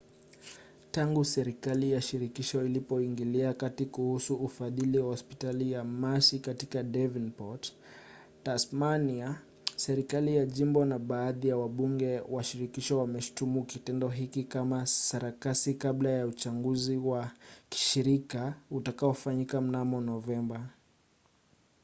tangu serikali ya shirikisho ilipoingilia kati kuhusu ufadhili wa hospitali ya mersey katika davenport tasmania serikali ya jimbo na baadhi ya wabunge wa shirikisho wameshutumu kitendo hiki kama sarakasi kabla ya uchaguzi wa kishirika utakaofanyika mnamo novemba